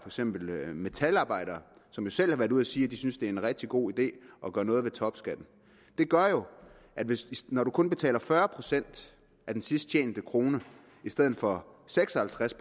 eksempel metalarbejdere som jo selv har været ude og sige at de synes det er en rigtig god idé at gøre noget ved topskatten det gør jo at hvis man kun betaler fyrre procent af den sidst tjente krone i stedet for seks og halvtreds